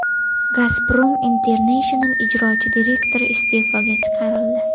Gazprom International ijrochi direktori iste’foga chiqarildi.